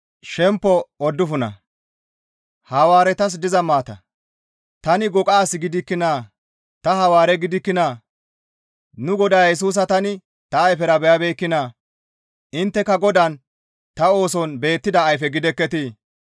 Tani goqa as gidikkinaa? Ta Hawaare gidikkinaa? Nu Godaa Yesusa tani ta ayfera beyabeekkinaa? Intteka Godaan ta ooson beettida ayfe gidekketii?